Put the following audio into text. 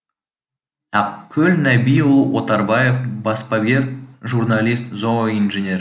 ақкөл нәбиұлы отарбаев баспагер журналист зооинженер